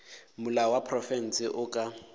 molao wa profense o ka